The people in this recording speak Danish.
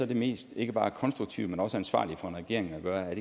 det mest ikke bare konstruktive men også ansvarlige for en regering at gøre